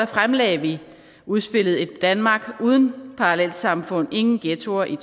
fremlagde vi udspillet ét danmark uden parallelsamfund ingen ghettoer i